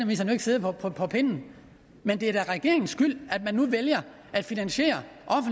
jo ikke siddet på på pinden men det er da regeringens skyld at man nu vælger at finansiere